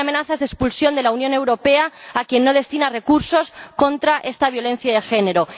no hay amenazas de expulsión de la Unión Europea a quien no destina recursos contra esta violencia de género.